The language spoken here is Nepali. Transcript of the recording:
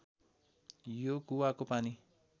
यो कुवाको पानी